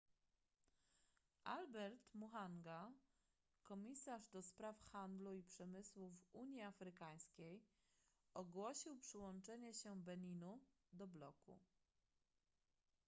albert muchanga komisarz ds handlu i przemysłu w unii afrykańskiej ogłosił przyłączenie się beninu do bloku